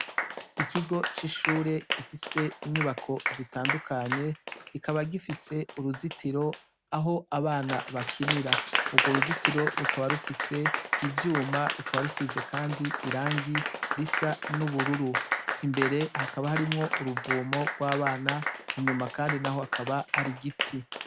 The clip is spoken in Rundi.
Ikigo c' ishure gifis' inyubako z' itandukanye kikaba gifis' uruzitiro, ah' abana bakinira, urwo ruzitiri rukaba rufis' ivyuma, rukaba rusiz' irangi ris' ubururu, imbere hakaba har' uruvumo rw' abana, inyuma kandi naho hakaba har' igiti.